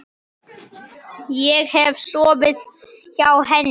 Hef ég sofið hjá henni?